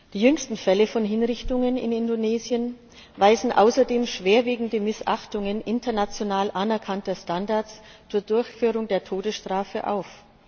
Die jüngsten Fälle von Hinrichtungen in Indonesien weisen außerdem schwerwiegende Missachtungen international anerkannter Standards zur Durchführung der Todesstrafe auf.